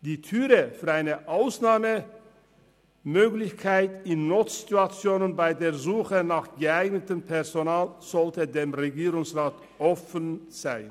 Die Türe für eine Ausnahmemöglichkeit in Notsituationen bei der Suche nach geeignetem Personal sollte dem Regierungsrat offen stehen.